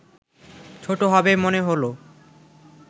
ছোট হবে মনে হলো